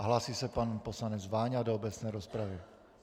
A hlásí se pan poslanec Váňa do obecné rozpravy.